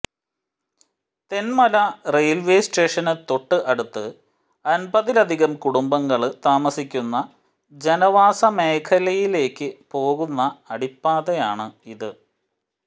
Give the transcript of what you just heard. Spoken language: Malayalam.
തെന്മല റെയില്വേ സ്റ്റേഷന് തൊട്ട് അടുത്ത് അന്പതിലധികം കുടുംബങ്ങള് താമസിക്കുന്ന ജനവാസ മേഖലയിലേക്ക് പോകുന്ന അടിപ്പാതയാണ് ഇത്